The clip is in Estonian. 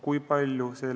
Kui palju neid on?